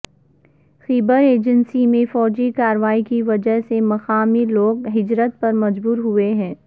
خیبر agency میں فوجی کارروائی کی وجہ سے مقامی لوگ ہجرت پر مجبور ہوئے ہیں